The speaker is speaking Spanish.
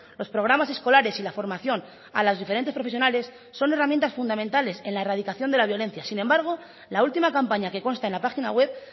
los programas escolares y la formación a las diferentes profesionales son herramientas fundamentales en la erradicación de la violencia sin embargo la última campaña que consta en la página web